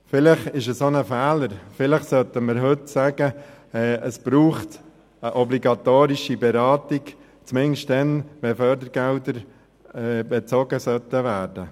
Vielleicht ist es auch ein Fehler, vielleicht sollten wir heute sagen, es brauche eine obligatorische Beratung zumindest dann, wenn Fördergelder bezogen werden sollen.